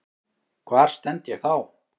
Hvar stend ég þá?